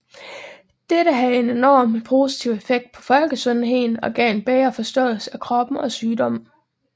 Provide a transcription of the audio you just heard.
Dette havde en enorm positiv effekt på folkesundheden og gav en bedre forståelse af kroppen og sygdomme